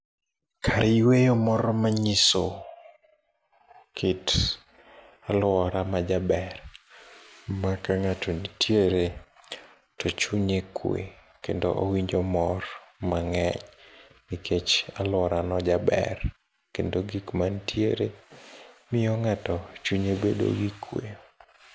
Kar yueyo moro manyiso kit aluora majaber ma kang'ato nitiere to chunye kwe kendo owinjo mor mang'eny nikech aluorano jaber kendo gik mantiere miyo ng'ato chunye bedo go kwe.